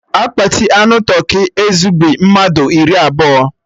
Akpati anụ tụrkị ezugbi mmadụ iri abụọ